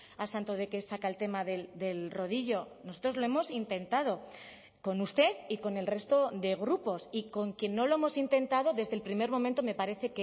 a santo de qué saca el tema del rodillo nosotros lo hemos intentado con usted y con el resto de grupos y con quién no lo hemos intentado desde el primer momento me parece